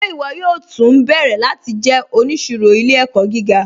Ṣe iwọ yóò tú nbẹ̀rẹ̀ láti jẹ́ oníṣìrò ilẹ̀-ẹ̀kọ̀ gíga?